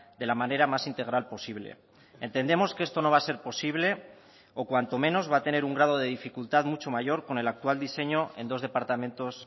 de la manera más integral posible entendemos que esto no va a ser posible o cuanto menos va a tener un grado de dificultad mucho mayor con el actual diseño en dos departamentos